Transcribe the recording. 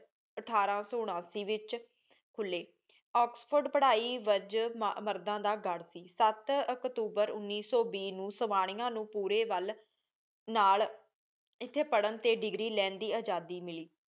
ਅਥਾਰ ਸੋ ਉਨਾਸੀ ਵਿਚ ਖੁਲੀ ਓਕ੍ਸ੍ਫੋਰਡ ਪਢ਼ਾਈ ਵਿਚ ਮਰਦਾਂ ਦਾ ਗਢ਼ ਸੀ ਸਾਤ ਅਕਤੂਬਰ ਉਨੀ ਸੂ ਵੀ ਨੂ ਸਵਾਨਿਯਾ ਨੂ ਪੂਰੀ ਵਾਲ ਨਾਲ ਏਥੀ ਪਰ੍ਹਨ ਟੀ ਦੇਗ੍ਰੀ ਲੈਣ ਦੀ ਆਜ਼ਾਦੀ ਮਿਲੀ